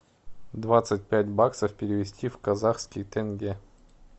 двадцать пять баксов перевести в казахские тенге